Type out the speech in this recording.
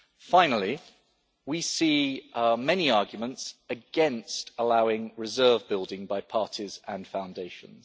Finally, we see many arguments against allowing reserve building by parties and foundations.